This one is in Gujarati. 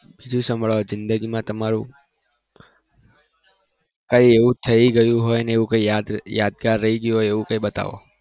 બીજું કઈ જિદગી માં તમારું કઈ એવું થઇ ગયું હોય ને યાદગાર રહી ગયું હોય એવું કઈ બતાવો